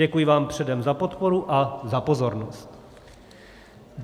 Děkuji vám předem za podporu a za pozornost.